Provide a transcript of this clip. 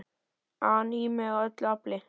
an í mig af öllu afli.